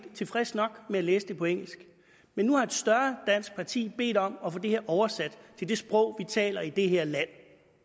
tilfreds nok med at læse det på engelsk men nu har et større dansk parti bedt om at få det her oversat til det sprog vi taler i det her land